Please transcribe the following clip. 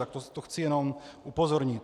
Na to chci jenom upozornit.